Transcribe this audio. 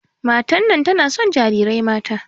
Matar nan tana son jarirai mata.